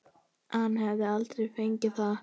Hann hefði aldrei fengið það.